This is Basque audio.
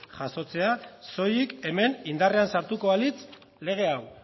jasotzea soilik hemen indarrean sartuko balitz lege hau